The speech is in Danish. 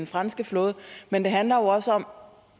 franske flåde men det handler også om